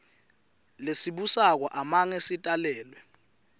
lesibusako amange sitalelwe